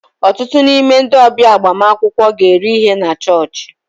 Ọtụtụ n'ime ndị ọbịa agbamakwụkwọ ga-eri ihe na chọọchị.